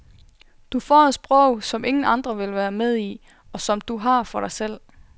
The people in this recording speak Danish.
Du får et sprog, som ingen andre vil være med i, og som du har for dig selv.